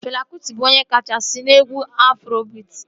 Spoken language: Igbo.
Fela Kụti bụ onye kachasị n'egwu Afrobiit